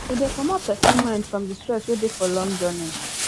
e de comot persin mind from di stress wey de for long journey